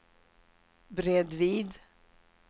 bredvid